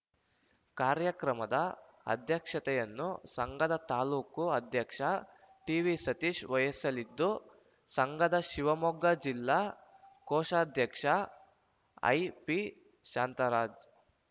ಕಾರ್ಯಕ್ರಮದ ಅಧ್ಯಕ್ಷತೆಯನ್ನು ಸಂಘದ ತಾಲೂಕು ಅಧ್ಯಕ್ಷ ಟಿ ವಿ ಸತೀಶ ವಯಸಲಿದ್ದು ಸಂಘದ ಶಿವಮೊಗ್ಗ ಜಿಲ್ಲಾ ಕೋಶಾಧ್ಯಕ್ಷ ಐಪಿ ಶಾಂತರಾಜ್‌